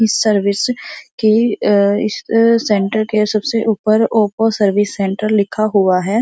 Service के इस centre के सबसे ऊपर ओप्पो सर्विस सेंटर लिखा हुआ है।